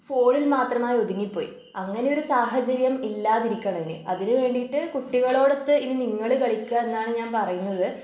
ഫോണിൽ മാത്രമായി ഒതുങ്ങി പോയി. അങ്ങനൊരു സാഹചര്യം ഇല്ലാതിരിക്കണം ഇനി അതിനു വേണ്ടിയിട്ട് കുട്ടികളോടൊത്ത് ഇനി നിങ്ങള് കളിക്കുവ എന്നാണ് ഞാൻ പറയുന്നത്